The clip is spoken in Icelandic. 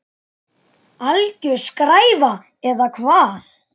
Alger skræfa eða hvað?